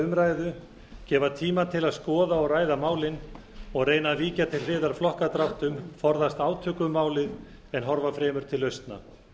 umræðu gefa tíma til að skoða og ræða málin og reyna að víkja til hliðar flokkadráttum forðast átök um málið en horfa fremur til lausna